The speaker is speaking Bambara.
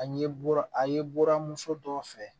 A ye bɔra a ye bɔra muso dɔ fɛ